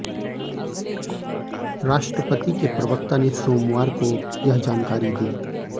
राष्ट्रपति के प्रवक्ता ने सोमवार को यह जानकारी दी